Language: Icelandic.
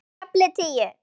KAFLI TÍU